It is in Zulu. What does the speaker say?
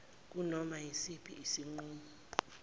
kunoma yisiphi isinqumo